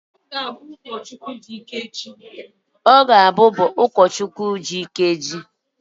Ọ ga-abụ ụkọchukwu dị ike echi.